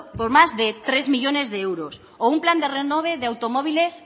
por más de tres millónes de euros o un plan de renove de automóviles